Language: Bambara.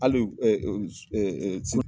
Hali